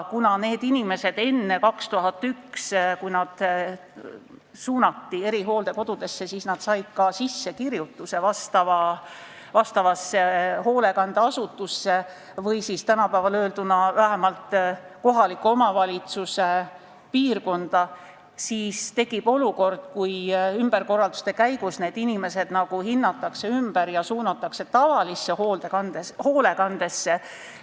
Kuna need inimesed enne 2001. aastat, kui nad suunati erihooldekodudesse, said ka sissekirjutuse vastavasse hoolekandeasutusse või tänapäevaselt öelduna vähemalt kohaliku omavalitsuse piirkonda, siis nüüd tekib olukord, kus ümberkorralduste käigus need inimesed nagu hinnatakse ümber ja suunatakse tavalisse hoolekandesse.